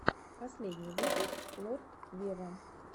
последний выпуск лорд вево